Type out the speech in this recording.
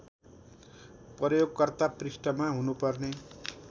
प्रयोगकर्ता पृष्ठमा हुनुपर्ने